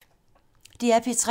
DR P3